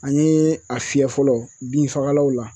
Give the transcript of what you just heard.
An ye a fiyɛ fɔlɔ binfagalanw la